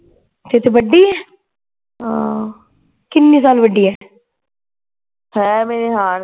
ਤੇਰੇ ਤੋਂ ਵੱਡੀ ਹੈ ਕਿੰਨੇ ਸਾਲ ਵੱਡੀ ਹੈ